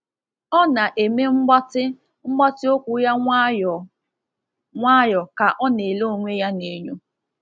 Ọ na-eme mgbatị mgbatị okwu ya nwayọ nwayọ ka ọ na-ele onwe ya n’enyo.